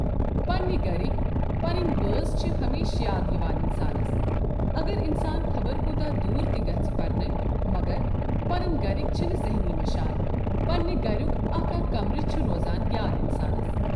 پنٛنہ گَرکۍ پنٕنۍ بٲژ چھ ہمیشہِ یاد یِوان اِنسانَس اگر اِنسان خبر کوٗتاہ دوٗر تہِ گژھہِ پَرنہِ مگر پنٕنۍ گَرِکۍ چھِنہٕ ذہٕنۍ مَشان پننِہ گرک اَکھ اَکھ کَمرٕ چھِ روزان یاد اِنسانس۔